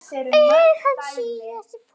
Er hann síðasta púslið?